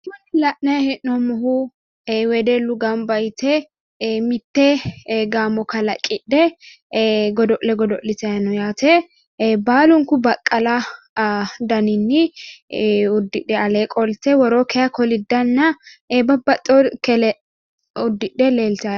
La'nayi hee'noommohu wedellu gamba yite mitte gaamo kalaqidhe godo'le godo'litayi no yaate baalunku baqqala daninni uddidhe alle qolte woroo kayi koliddanna babbaxxeyoore uddidhe leeltanno .